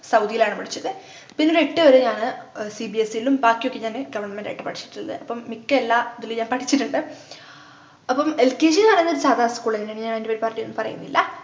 സൗദിയിലാണ് പഠിച്ചത് പിന്നൊരു എട്ടു വരെ ഞാന് ആഹ് cbse ലും ബാക്കിയൊക്കെ ഞാന് government ആയിട്ട് പഠിച്ചിട്ടുള്ളത് അപ്പൊ മിക്ക എല്ലാ ഇതിലും ഞാൻ പഠിച്ചിട്ടുണ്ട് അപ്പം lkg ന്നു പറയുന്നത് സാദാ school എന്നെയാണ് അപ്പൊ ഞാൻ അതിനെപ്പറ്റിയൊന്നും പറയുന്നില്ല